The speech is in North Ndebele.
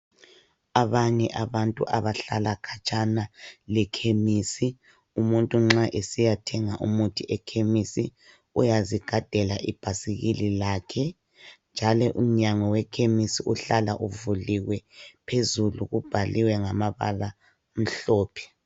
Abanye abantu abahlala khatshana lekhemisi, umuntu nxa esiyathenga umuthi ekhemisi uyazigadela ibhayisikile lakhe njalo imnyango wekhemisi uhlala uvuliywe phezulu kubhaliywe ngamabala amhlophe.